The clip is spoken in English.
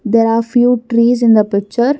There are few trees in the picture.